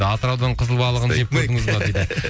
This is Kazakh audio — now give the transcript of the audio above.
атыраудың қызыл балығын жеп көрдіңіз бе дейді